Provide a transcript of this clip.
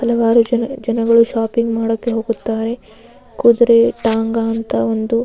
ಹಲವಾರು ಜನ ಜನಗಳು ಶಾಪಿಂಗ್ ಮಾಡೋಕೆ ಹೋಗುತ್ತಾರೆ ಕುದುರೆ ಟಾಂಗಾ ಅಂತ ಒಂದು --